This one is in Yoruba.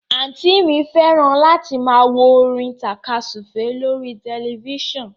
Àǹtí i mi fẹ́ràn láti máa wo orin tàka súfèé lórí tẹ̀lifísàn